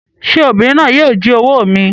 Sé obìnrin náà yíì o jí owó mi